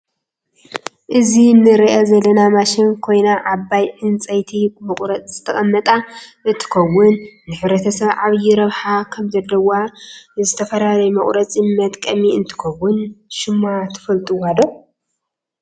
እዚ ንርኣ ዘለና ማሽን ኮይና ዓብይ ዕንጠይቲ መቁረፅ ዝተቀመጣ እንትከውን ንሕረተሰብ ዓብይ ረብሓ ከም ዘለዋ ንዝተፈላለዩ መቁረፂ መጥቀሚ እንትትከውን ሽማ ትፈልጥዋዶ?